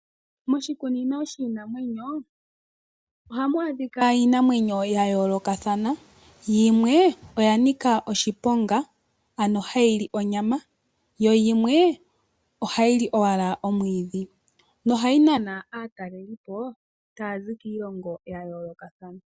Moshikunino shiinamwenyo ohamu adhika iinamwenyo yayoolokathana yimwe oya nika oshiponga ano hayi li onyama yoyimwe ohayi li owala omwiidhi nohayi nana aatalelipo taya zi kiilongo yayoolokathana.